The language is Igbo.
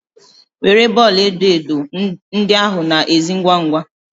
Were bọọlụ edo edo ndị ahụ na ezi ngwa ngwa!